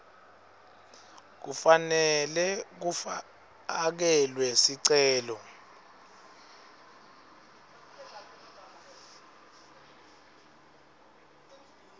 kufanele kufakelwe sicelo